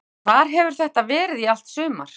Hvar hefur þetta verið í allt sumar?